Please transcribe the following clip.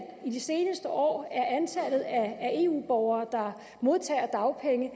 i de seneste år er antallet af eu borgere der modtager dagpenge